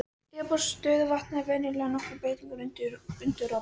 Yfirborð stöðuvatna er venjulega nokkrum breytingum undirorpið.